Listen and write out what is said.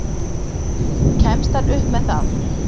Kemst hann upp með það?